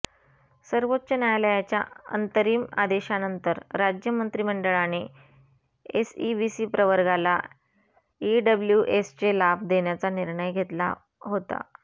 सर्वोच्च न्यायालयाच्या अंतरिम आदेशानंतर राज्य मंत्रिमंडळाने एसईबीसी प्रवर्गाला ईडब्ल्यूएसचे लाभ देण्याचा निर्णय घेतला होता